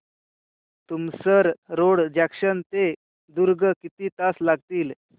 Tumsar road junction ते दुर्ग किती तास लागतील